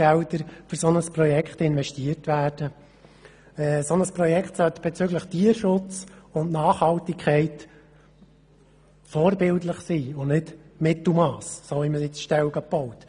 Dieses Projekt sollte bezüglich Tierschutz und Nachhaltigkeit vorbildlich sein und nicht Mittelmass, so wie man zurzeit Ställe baut.